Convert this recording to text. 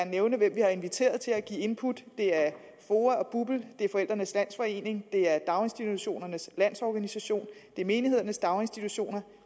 nævne hvem vi har inviteret til at give input det er foa og bupl det er forældrenes landsforening det er daginstitutionernes lands organisation det er menighedernes daginstitutioner